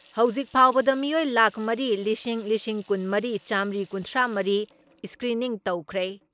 ꯍꯧꯖꯤꯛ ꯐꯥꯎꯕꯗ ꯃꯤꯑꯣꯏ ꯂꯥꯈ ꯃꯔꯤ ꯂꯤꯁꯤꯡ ꯂꯤꯁꯤꯡ ꯀꯨꯟ ꯃꯔꯤ ꯆꯥꯝꯔꯤ ꯀꯨꯟꯊ꯭ꯔꯥ ꯃꯔꯤ ꯏꯁꯀ꯭ꯔꯤꯅꯤꯡ ꯇꯧꯈ꯭ꯔꯦ ꯫